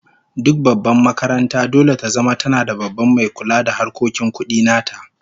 Duk babbar makaranta dole ta zama tana da Babban mai kula da harkokin kudi nata